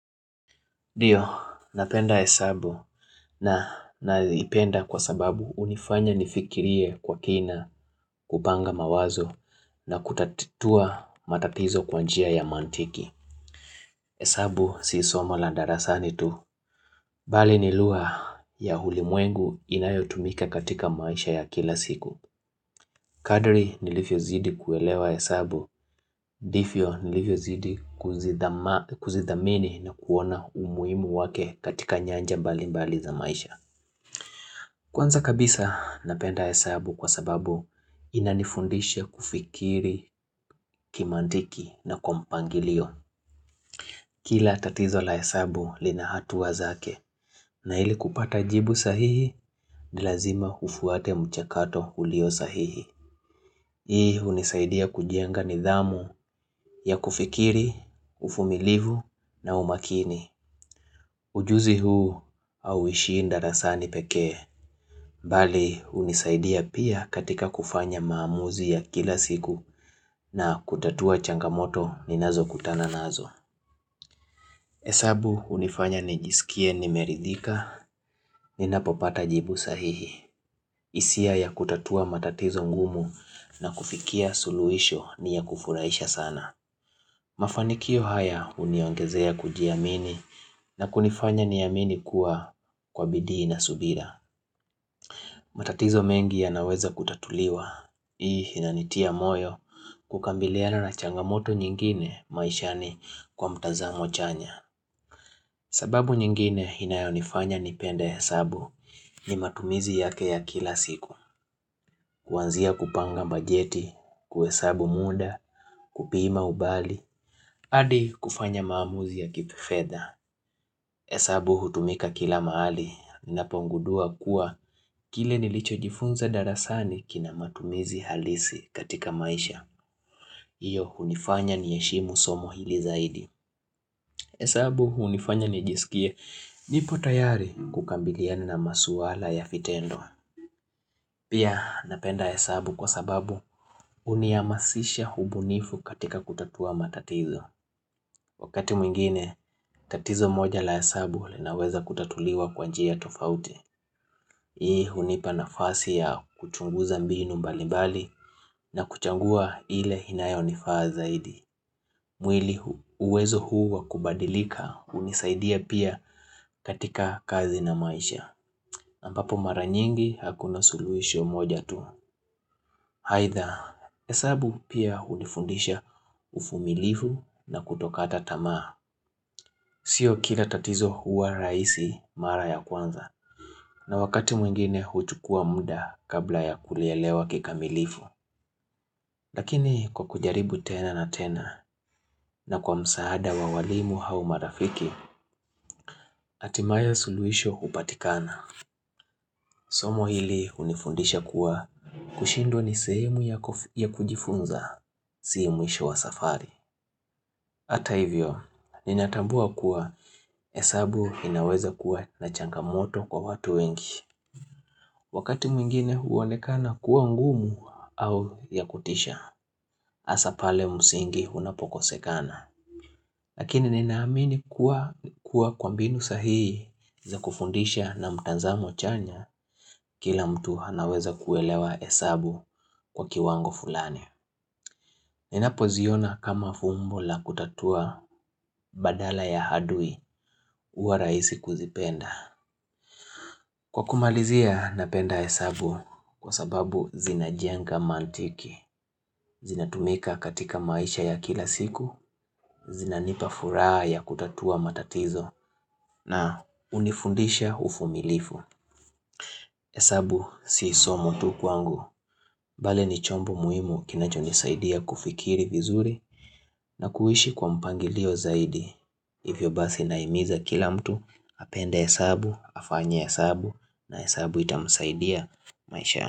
Ndio, napenda hesabu na nalipenda kwa sababu hunifanya nifikirie kwa kina kupanga mawazo na kutatua matapizo kwa njia ya mantiki. Hesabu si somo la ndarasani tu. Bali nilugha ya hulimwengu inayotumika katika maisha ya kila siku. Kadri nilivyozidi kuelewa hesabu, ndifio nilifiozidi kuzidhamini na kuona umuimu wake katika nyanja mbalimbali za maisha. Kwanza kabisa napenda hesabu kwa sababu inanifundisha kufikiri kimantiki na kwa mpangilio. Kila tatizo la hesabu lina hatuwa zake na hili kupata jibu sahihi ni lazima ufuate mchakato ulio sahihi. Hii hunisaidia kujenga nidhamu ya kufikiri, ufumilivu na umakini Ujuzi huu auishii ndarasani pekee Bali hunisaidia pia katika kufanya maamuzi ya kila siku na kutatua changamoto ninazokutana nazo Esabu hunifanya nijisikie nimeridhika ninapopata jibu sahihi hisia ya kutatua matatizo ngumu na kufikia suluhisho ni ya kufuraisha sana Mafanikio haya huniongezea kujiamini na kunifanya niamini kuwa kwa bidii na subira. Matatizo mengi yanaweza kutatuliwa. Hii inanitia moyo kukambiliana na changamoto nyingine maishani kwa mtazamo chanya. Sababu nyingine inayonifanya nipende hesabu ni matumizi yake ya kila siku. Kuanzia kupanga bajeti, kuhesabu muda, kupima umbali, hadi kufanya maamuzi ya kifedha hesabu hutumika kila mahali ninapongudua kuwa kile nilicho jifunza darasani kina matumizi halisi katika maisha. Hiyo hunifanya ni heshimu somo hili zaidi. Hesabu hunifanya nijisikie nipo tayari kukabiliana na masuala ya vitendo. Pia napenda hesabu kwa sababu hunihamasisha ubunifu katika kutatua matatizo. Wakati mwingine, tatizo moja la hesabu linaweza kutatuliwa kwanjia tofauti. Hii hunipa nafasi ya kuchunguza mbinu mbalimbali na kuchagua ile inayo nifaa zaidi. Mwili uwezo huu wakubadilika hunisaidia pia katika kazi na maisha. Ambapo mara nyingi hakuna suluhisho moja tu. Aidha, hesabu pia hunifundisha uvumilivu na kutokata tamaa. Sio kila tatizo huwa raisi mara ya kwanza, na wakati mwingine huchukua muda kabla ya kulelewa kika milifu. Lakini kwa kujaribu tena na tena, na kwa msaada wa walimu au marafiki, hatimaye suluhisho hupatikana. Somo hili hunifundisha kuwa kushindwa ni sehemu ya kujifunza, si mwisho wa safari. Hata hivyo ninatambua kuwa hesabu inaweza kuwa na changamoto kwa watu wengi wakati mwingine huonekana kuwa ngumu au ya kutisha hasaa pale musingi unapokesekana Lakini ninaamini kuwa kwa mbinu sahihi za kufundisha na mtanzamo chanya kila mtu anaweza kuelewa hesabu kwa kiwango fulani. Ninapo ziona kama fumbo la kutatua badala ya adui huwa rahisi kuzipenda. Kwa kumalizia napenda hesabu kwa sababu zina jenga mantiki, zina tumika katika maisha ya kila siku, zinanipa furaha ya kutatua matatizo na hunifundisha uvumilivu hesabu si somo tu kwangu. Bali ni chombo muhimu kinacho nisaidia kufikiri vizuri na kuishi kwa mpangilio zaidi. Hivyo basi na himiza kila mtu apende hesabu, afanye hesabu na hesabu itamsaidia maishani.